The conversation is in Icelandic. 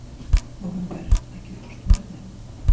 Nóvember, ekki fórstu með þeim?